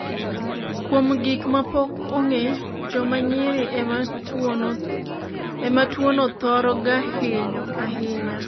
kuom gik ma pok ong'e, joma nyiri ema tuono thoro ga hinyo ahinya